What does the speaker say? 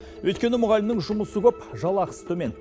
өйткені мұғалімнің жұмысы көп жалақысы төмен